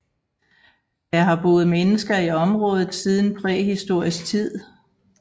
Der har boet mennesker i området siden præhistorisk tid